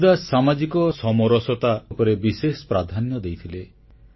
କବୀରଦାସ ସାମାଜିକ ସମାନତା ଉପରେ ବିଶେଷ ପ୍ରାଧାନ୍ୟ ଦେଇଥିଲେ